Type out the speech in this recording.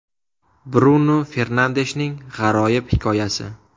Brunu Fernandeshning g‘aroyib hikoyasi.